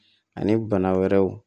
Ani bana wɛrɛw